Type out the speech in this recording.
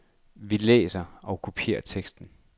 Vi læser og vi kopierer teksten.